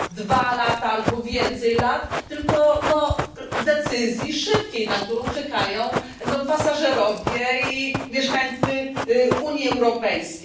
dwa lata albo więcej lat, tylko decyzji szybkiej, na którą czekają pasażerowie i mieszkańcy Unii Europejskiej.